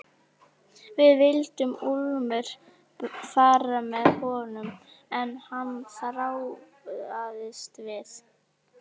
Það lekur eitthvað niður eftir vinstra lærinu.